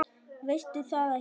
Veistu það ekki?